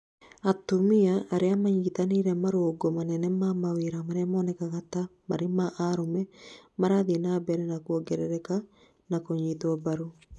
atumia aria manyĩtĩrĩire marũngo manene ma mawĩra maria monekaga ta marĩ ma arũme, marathiĩ na mbere na kũongerereka na kũnyitwo mbarũ